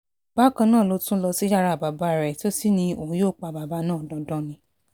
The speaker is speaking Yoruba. bákan náà ló tún lọ sí yàrá bàbá rẹ̀ tó sì ní òun yóò pa bàbá náà dandan ni